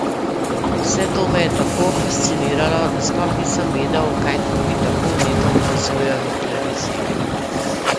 Vse to me je tako fasciniralo, da sploh nisem vedel, kaj drugi tako vneto opazujejo na televiziji.